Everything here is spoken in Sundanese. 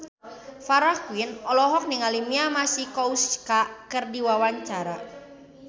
Farah Quinn olohok ningali Mia Masikowska keur diwawancara